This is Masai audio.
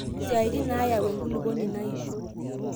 isaitin naayau enkuluponi naishoo